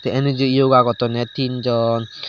tey enuju yoga gottonney tin jon.